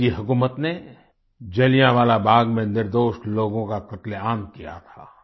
अंग्रेजी हुकूमत ने जलियांवाला बाग़ में निर्दोष लोगों का कत्लेआम किया था